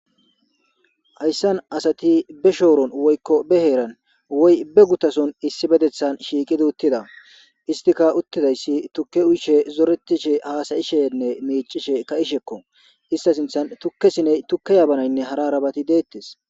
hayssan asati be shooron woykko be heeran woy be gutason issi bedethan shiiqid uttida istika uttidayssi tukke uyshe zoretishe haasayishenne miicishe ka ishekko ista sinthan tukkesiney tukke yaabanaynne hara rabati deettes